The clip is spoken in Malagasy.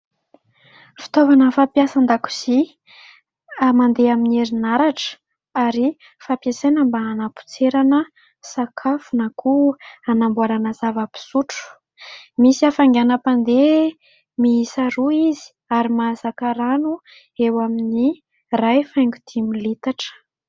Fitaovana fampiasa an-dakozia mandeha amin'ny herinaratra ary fampiasaina mba hanampotserana sakafo na koa hanamboarana zava-pisotro. Misy hafianganam-pandeha miisa roa izy ary mahazaka rano eo amin'ny ray faingo dimy litatra.